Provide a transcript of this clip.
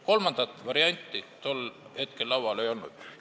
Kolmandat varianti tol hetkel laual ei olnud.